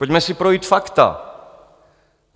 Pojďme si projít fakta.